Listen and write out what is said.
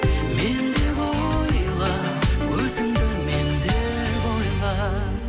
мен деп ойла өзіңді мен деп ойла